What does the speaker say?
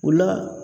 O la